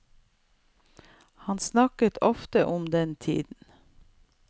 Han snakket ofte om den tiden.